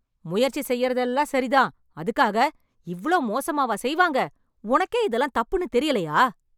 முயற்சி செய்றதெல்லாம் சரி தான், அதுக்காக இவ்ளோ மோசமாவா செய்வாங்க. உனக்கே இதெல்லாம் தப்புன்னு தெரியலயா?